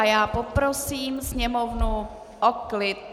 A já poprosím sněmovnu o klid.